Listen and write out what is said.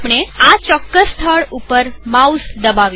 આપણે આ ચોક્કસ સ્થળ ઉપર માઉસ દબાવીશું